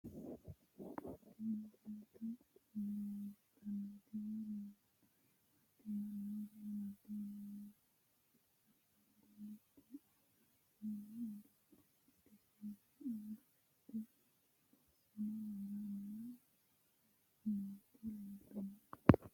Tenne misilenni la'nanniri woy leellannori maattiya noori amadde yinummoro ashangulitte aanna seennu uduunne udisiinse angatte borisanno worrenna nootti leelittanno yaatte